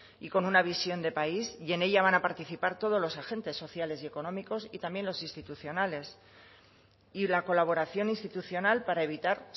y con una visión de país y en ella van a participar todos los agentes sociales y económicos y también los institucionales y la colaboración institucional para evitar